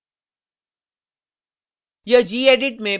और enter दबाएँ